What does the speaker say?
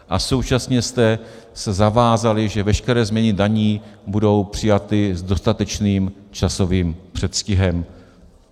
A současně jste se zavázali, že veškeré změny daní budou přijaty s dostatečným časovým předstihem.